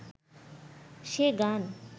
সে গান